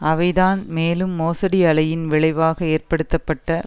அவைதான் மேலும் மோசடி அலையின் விளைவாக ஏற்படுத்தப்பட்ட